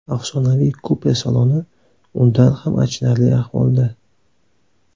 Afsonaviy kupe saloni undan ham achinarli ahvolda.